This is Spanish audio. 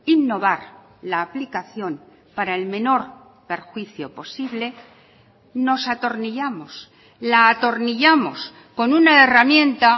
innovar la aplicación para el menor perjuicio posible nos atornillamos la atornillamos con una herramienta